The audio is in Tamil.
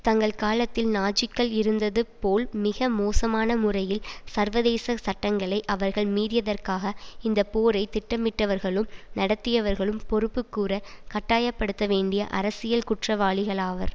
தங்கள் காலத்தில் நாஜிக்கள் இருந்தது போல் மிக மோசமான முறையில் சர்வதேச சட்டங்களை அவர்கள் மீறியதற்காக இந்த போரை திட்டமிட்டவர்களும் நடத்தியவர்களும் பொறுப்புக்கூறக் கட்டாய படுத்த வேண்டிய அரசியல் குற்றவாளிகளாவர்